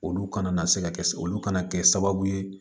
Olu kana na se ka kɛ olu kana kɛ sababu ye